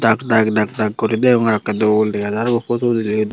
daak daak daak daak guri deonge ekoree dol degajar bo.